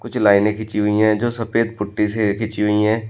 कुछ लाइनें खींची हुई है जो सफेद पुट्टी से खींची हुई है।